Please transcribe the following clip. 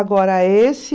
Agora, esse...